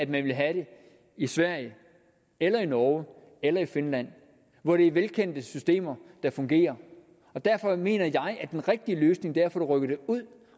man ville have det i sverige eller i norge eller i finland hvor det er velkendte systemer der fungerer derfor mener jeg at den rigtige løsning det rykket ud